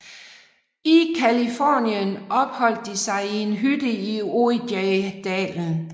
I Californien opholdt de sig i en hytte i Ojai dalen